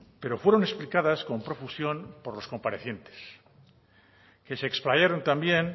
pero fueron explicadas con profusión por los comparecientes que se explayaron también